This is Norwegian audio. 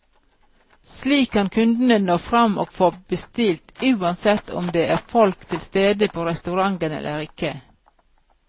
Slik kan kundene nå frem og få bestilt, uansett om det er folk tilstede på restauranten eller ikke.